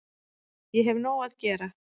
Ég hef nóg að gera